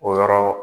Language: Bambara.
O yɔrɔ